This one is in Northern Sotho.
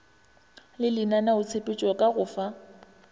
le lenaneotshepetšo ka go fa